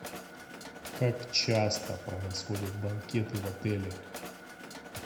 как часто происходят банкеты в отеле